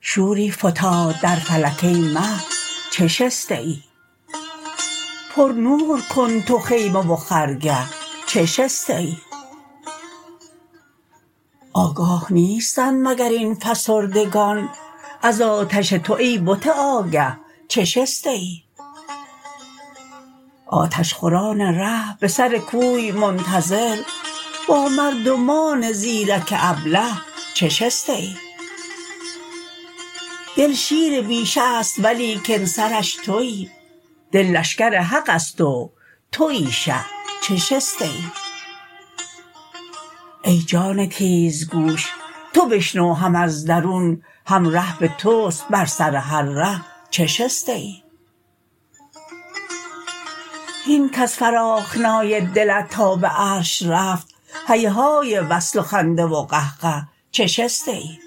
شوری فتاد در فلک ای مه چه شسته ای پرنور کن تو خیمه و خرگه چه شسته ای آگاه نیستند مگر این فسردگان از آتش تو ای بت آگه چه شسته ای آتش خوران ره به سر کوی منتظر با مردمان زیرک ابله چه شسته ای دل شیر بیشه ست ولیکن سرش توی دل لشکر حقست و توی شه چه شسته ای ای جان تیزگوش تو بشنو هم از درون هم ره به توست بر سر هر ره چه شسته ای هین کز فراخنای دلت تا به عرش رفت هیهای وصل و خنده و قهقه چه شسته ای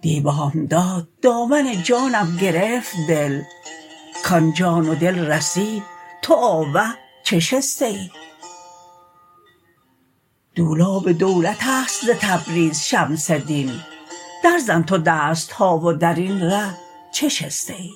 دی بامداد دامن جانم گرفت دل کان جان و دل رسید تو آوه چه شسته ای دولاب دولتست ز تبریز شمس دین درزن تو دست ها و در این ره چه شسته ای